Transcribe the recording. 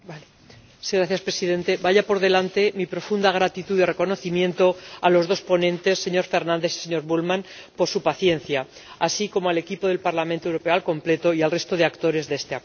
Señor Presidente, vaya por delante mi profunda gratitud y reconocimiento a los dos ponentes, señor Fernandes y señor Bullmann, por su paciencia, así como al equipo del Parlamento Europeo al completo y al resto de actores de este acuerdo.